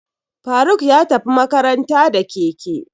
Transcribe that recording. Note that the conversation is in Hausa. Faruk ya tafi makaranta da keke.